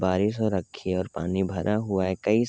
बारिश हो रखी है और पानी भर हुआ है। कई --